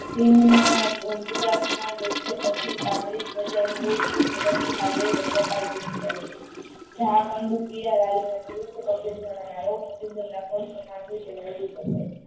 સિંભ ના વૃક્ષ પર થી પાટડી ધ્વજાઓથતી હોય તને કપલ પુસ્થ કહે છે.